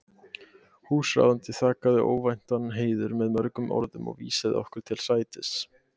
Húsráðandi þakkaði óvæntan heiður með mörgum orðum og vísaði okkur til sætis.